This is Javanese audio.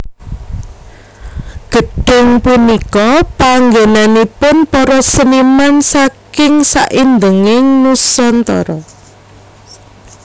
Gedhung punika panggennaipun para seniman saking saindenging Nusantara